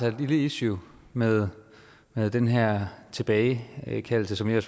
et lille issue med med den her mulighed tilbagekaldelse som jeg